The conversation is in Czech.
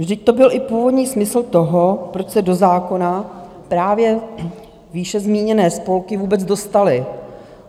Vždyť to byl i původní smysl toho, proč se do zákona právě výše zmíněné spolky vůbec dostaly.